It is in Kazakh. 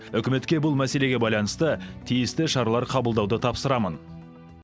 үкіметке бұл мәселеге байланысты тиісті шаралар қабылдауды тапсырамын